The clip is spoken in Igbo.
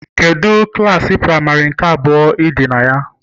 Kedu klasị práịmarị nke abụọ Ị̀dì na ya